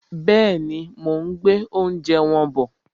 Bẹ́ẹ̀ni, mo ún gbé oúnjẹ wọn bọ̀